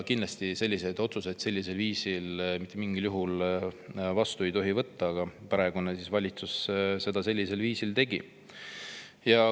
Kindlasti selliseid otsuseid sellisel viisil mitte mingil juhul vastu ei tohi võtta, aga praegune valitsus seda sellisel viisil tegi.